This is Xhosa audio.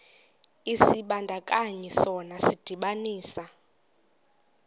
isibandakanyi sona sidibanisa